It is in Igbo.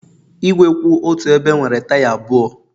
Igwe kwụ otu ebe nwere taya abụọ